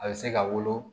A bɛ se ka wolo